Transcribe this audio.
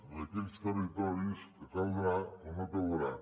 en aquells territoris en què caldrà o no caldrà